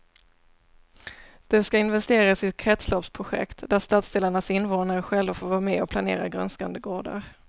Det ska investeras i kretsloppsprojekt där stadsdelarnas invånare själva får vara med och planera grönskande gårdar.